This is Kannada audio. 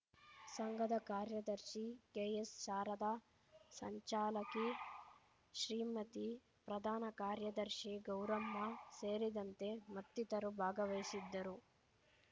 ಸಂಘದ ಕಾರ್ಯದರ್ಶಿ ಕೆಎಸ್‌ಶಾರದಾ ಸಂಚಾಲಕಿ ಶ್ರೀಮತಿ ಪ್ರಧಾನ ಕಾರ್ಯದರ್ಶಿ ಗೌರಮ್ಮ ಸೇರಿದಂತೆ ಮತ್ತಿತರು ಭಾಗವಹಿಸಿದ್ದರು